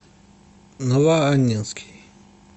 новоаннинский